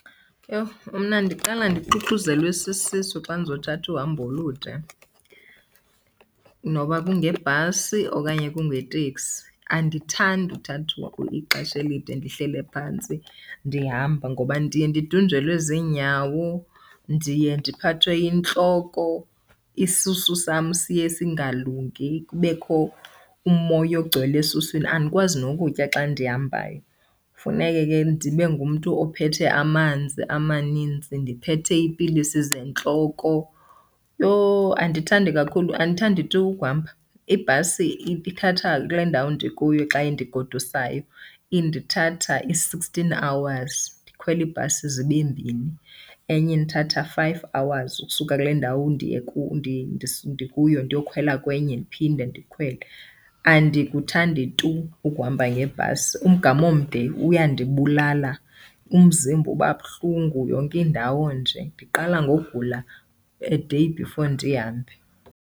Yho mna ndiqala ndixuxuzelwe sisisu xa ndizothatha uhambo olude noba kungebhasi okanye kungeteksi. Andithandi ukuthatha ixesha elide ndihleli phantsi ndihamba, ngoba ndiye ndidunjelwe zinyawo, ndiye ndiphathwe yintloko, isisu sam siye singalungi kubekho umoya ogcwele esuswini. Andikwazi nokutya xa ndihambayo, funeke ke ndibe ngumntu ophethe amanzi amanintsi, ndiphethe iipilisi zentloko. Yhoo andithandi kakhulu, andithandi tu ukuhamba. Ibhasi ithatha kule ndawo ndikuyo xa indigodusayo, indithatha i-sixteen hours, ndikhwele ibhasi zibe mbini. Enye indithatha five hours ukusuka kule ndawo ndikuyo ndiyokhwela kwenye, ndiphinde ndikhwele. Andikuthandi tu ukuhamba ngebhasi. Umgama omde uyandibulala, umzimba uba buhlungu yonke indawo nje, ndiqala ngogula a day before ndihambe.